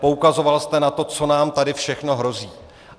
Poukazoval jste na to, co nám tady všechno hrozí.